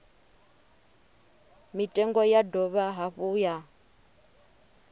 mitengo ya dovha hafhu ya